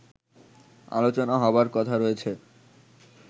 আলোচনা হবার কথা রয়েছে